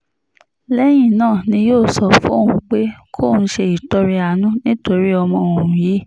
lẹ́yìn náà ni yóò sọ fóun pé kóun ṣe ìtọrẹ àánú nítorí ọmọ òun yìí